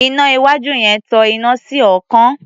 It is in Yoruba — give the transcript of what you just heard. Iná iwájú yẹn tan iná sí ọ̀ọ́kán.